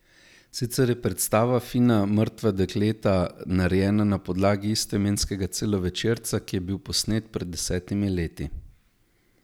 Sicer je predstava Fina mrtva dekleta narejena na podlagi istoimenskega celovečerca, ki je bil posnet pred desetimi leti.